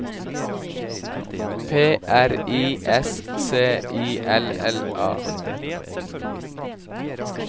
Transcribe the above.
P R I S C I L L A